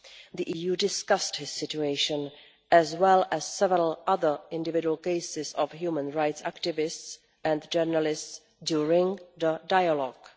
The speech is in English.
The EU discussed his situation, as well as several other individual cases of human rights activists and journalists, during the dialogue.